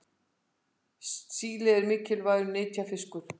síli eru mikilvægir nytjafiskar